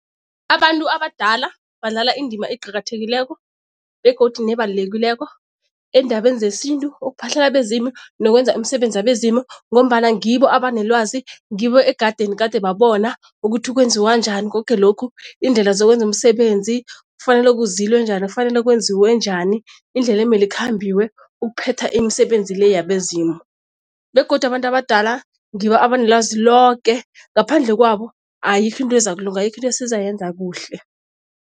Abantu abadala badlala indima eqakathekileko begodu nebalulekileko eendabeni zesintu, ukuphahlela abezimu nokwenza imisebenzi yabezimu ngombana ngibo abanelwazi ngibo ekadeni gade babona ukuthi kwenziwa njani koke lokhu, iindlela zokwenza umsebenzi, kufanele kuzilwe njani, kufanele kwenziwe njani, indlela emele ikhambiwe ukuphetha imisebenzi le yabezimu. Begodu abantu abadala ngibo abanelwazi loke ngaphandle kwabo, ayikho into ezakulunga, ayikho into esizayenza kuhle.